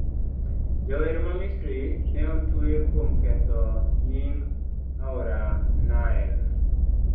Jawer ma Misri ne otwe kuom ketho nying' aora Nile